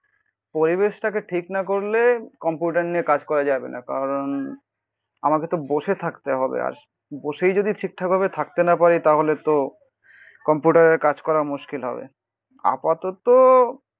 পরিবেশটাকে ঠিক না করলে কম্পিউটার নিয়ে কাজ করা যাবে না. কারণ আমাকে তো বসে থাকতে হবে আর বসেই যদি ঠিকঠাক ভাবে থাকতে না পারি তাহলে তো কম্পিউটারের কাজ করা মুশকিল হবে আপাতত